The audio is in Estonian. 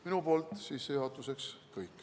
Minu poolt sissejuhatuseks kõik.